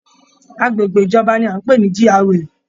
Agbègbè ìjọba ni a n pé ní GRA.